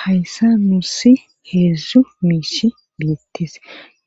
hayssa nuusi heedzdzu miishi biittis